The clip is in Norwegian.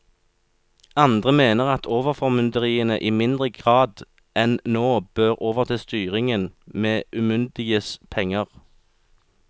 Andre mener at overformynderiene i mindre grad enn nå bør overta styringen med umyndiges penger.